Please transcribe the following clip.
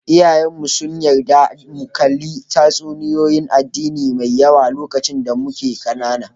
Iyaye mu su'n yarda mu kalla tatsuniyoyi 'n addini Mai yawa lokacin da mike kanana.